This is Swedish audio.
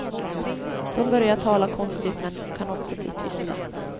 De börjar tala konstigt men kan också bli tysta.